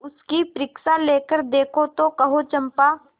उसकी परीक्षा लेकर देखो तो कहो चंपा